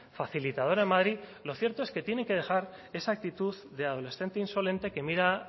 facilitadora en madrid lo cierto es que tienen que dejar esa actitud de adolescente insolente que mira